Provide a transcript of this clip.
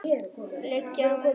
Liggja mörg verk eftir hann.